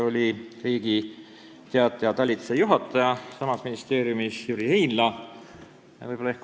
Samuti osales sama ministeeriumi Riigi Teataja talituse juhataja Jüri Heinla.